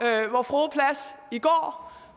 frue plads i går